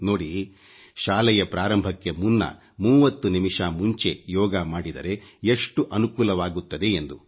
ನೋಡಿ ಶಾಲೆಯ ಪ್ರಾರಂಭಕ್ಕೆ ಮುನ್ನ 30 ನಿಮಿಷ ಮುಂಚೆ ಯೋಗ ಮಾಡಿದರೆ ಎಷ್ಟು ಅನುಕೂಲವಾಗುತ್ತದೆ ಎಂದು